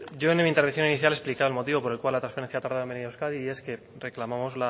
yo en mi intervención inicial he explicado el motivo por el cual la transferencia ha tardado en venir a euskadi y es que reclamamos